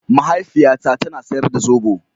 Mahaifiyata ta na sayar da zobo.